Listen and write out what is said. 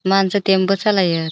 माणसा टेम्पु चलाय.